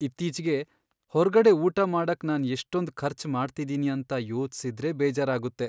ಇತ್ತೀಚ್ಗೆ ಹೊರ್ಗಡೆ ಊಟ ಮಾಡಕ್ ನಾನ್ ಎಷ್ಟೊಂದ್ ಖರ್ಚ್ ಮಾಡ್ತಿದೀನಿ ಅಂತ ಯೋಚ್ಸಿದ್ರೆ ಬೇಜಾರಾಗುತ್ತೆ.